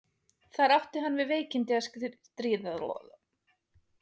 þar átti hann við veikindi að stríða og var aldrei heilsuhraustur eftir það